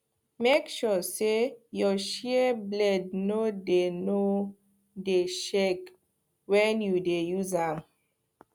make sure say your shears blade no dey no dey shake when you dey use am